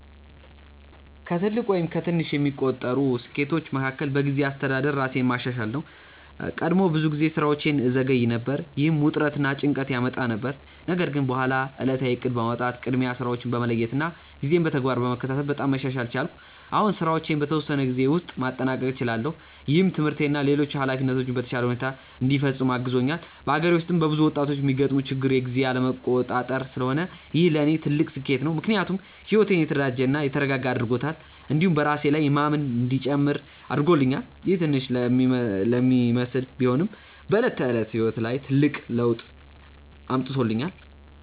ከትልቅ ወይም ከትንሽ የሚቆጠሩ ስኬቶቼ መካከል በጊዜ አስተዳደር ራሴን ማሻሻል ነው። ቀድሞ ብዙ ጊዜ ስራዎቼን እዘገይ ነበር፣ ይህም ውጥረት እና ጭንቀት ያመጣ ነበር። ነገር ግን በኋላ ዕለታዊ እቅድ በማውጣት፣ ቅድሚያ ስራዎችን በመለየት እና ጊዜን በተግባር በመከታተል በጣም መሻሻል ቻልኩ። አሁን ስራዎቼን በተወሰነ ጊዜ ውስጥ ማጠናቀቅ እችላለሁ፣ ይህም ትምህርቴን እና ሌሎች ኃላፊነቶቼን በተሻለ ሁኔታ እንዲፈጽም አግዞኛል። በአገሬ ውስጥ በብዙ ወጣቶች የሚገጥም ችግር የጊዜ አለመቆጣጠር ስለሆነ ይህ ለእኔ ትልቅ ስኬት ነው። ምክንያቱም ሕይወቴን የተደራጀ እና የተረጋጋ አድርጎታል፣ እንዲሁም በራሴ ላይ የማምን እንዲጨምር አድርጎኛል። ይህ ትንሽ ለሚመስል ቢሆንም በዕለት ተዕለት ሕይወት ላይ ትልቅ ለውጥ አምጥቶኛል።